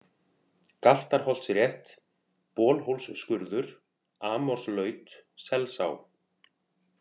Galtarholtsrétt, Bolhólsskurður, Amorslaut, Selsá